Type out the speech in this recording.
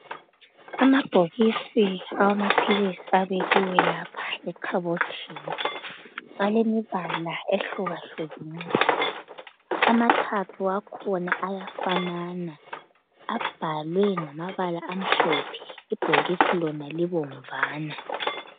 Amabhokisi awamaphilisi abekiwe lapha ekhabothini. Alemibala ehlukahlukeneyo, amathathu akhona ayafanana abhalwe ngamabala amhlophe ibhokisi lona libomvana.